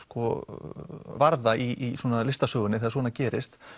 varða í listasögunni þegar svona gerist